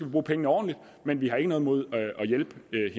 bruge pengene ordentligt men vi har ikke noget imod